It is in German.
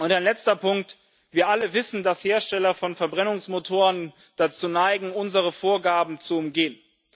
Ein letzter Punkt Wir alle wissen, dass Hersteller von Verbrennungsmotoren dazu neigen, unsere Vorgaben zu umgehen.